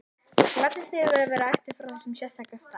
Ég gladdist yfir að vera ættuð frá þessum sérstaka stað.